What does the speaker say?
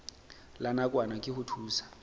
la nakwana ke ho thusa